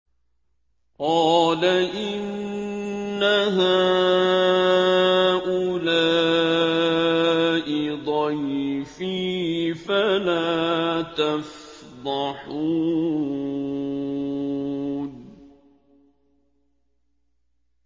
قَالَ إِنَّ هَٰؤُلَاءِ ضَيْفِي فَلَا تَفْضَحُونِ